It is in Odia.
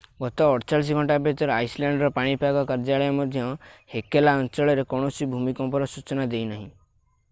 ଗତ 48 ଘଣ୍ଟା ଭିତରେ ଆଇସଲ୍ୟାଣ୍ଡର ପାଣିପାଗ କାର୍ଯ୍ୟାଳୟ ମଧ୍ୟ ହେକଲା ଅଞ୍ଚଳରେ କୌଣସି ଭୂମିକମ୍ପର ସୂଚନା ଦେଇନାହିଁ